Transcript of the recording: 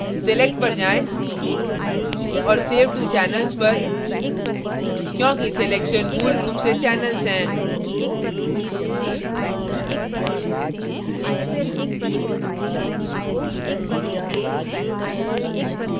select पर जाएँ और save to channels पर क्योंकि selections मूल रूप से channel हैं